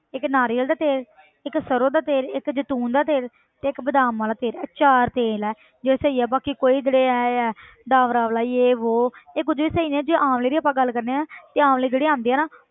ਇੱਕ ਨਾਰੀਅਲ ਦਾ ਤੇਲ ਇੱਕ ਸਰੋਂ ਦਾ ਤੇਲ, ਇੱਕ ਜੈਤੂਨ ਦਾ ਤੇਲ ਤੇ ਇੱਕ ਬਾਦਾਮਾਂ ਦਾ ਤੇਲ ਇਹ ਚਾਰ ਤੇਲ ਹੈ ਜਿਹੜੇ ਸਹੀ ਆ ਬਾਕੀ ਕੋਈ ਜਿਹੜੇ ਇਹ ਹੈ ਡਾਬਰਾ ਆਮਲਾ ਜੇਹ ਵੋਹ ਇਹ ਕੁੱਝ ਵੀ ਸਹੀ ਨਹੀਂ ਹੈ ਜੇ ਆਮਲੇ ਦੀ ਆਪਾਂ ਗੱਲ ਕਰਦੇ ਹਾਂ ਨਾ ਤੇ ਆਮਲੇ ਜਿਹੜੇ ਆਉਂਦੇ ਆ ਨਾ,